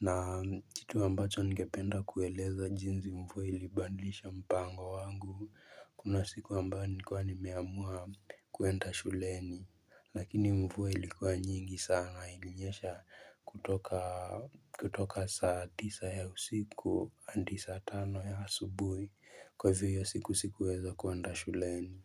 na kitu ambacho ningependa kueleza jinsi mvua ilibadilisha mpango wangu kuna siku ambayo nilikuwa nimeamua kuenda shuleni Lakini mvua ilikuwa nyingi sana ilinyesha kutoka kutoka saa tisa ya usiku hadi saa tano ya asubuhi, kwa hivyo hiyo siku sikuweza kuenda shuleni.